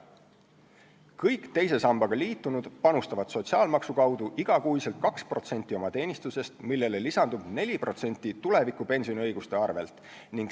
Kõik teise sambaga liitunud panustavad sotsiaalmaksu kaudu igakuiselt 2% oma teenistusest, millele lisandub 4% tulevikupensioni õiguste arvel.